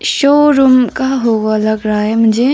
Showroom का होगा लग रहा है मुझे।